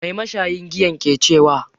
Mai mashayin giyan ke cewa?